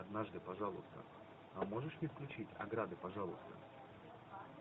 однажды пожалуйста а можешь мне включить ограды пожалуйста